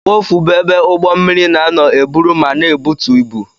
Wọf bụ ebe ụgbọ mmiri na-anọ eburu ma na-ebutu ibu.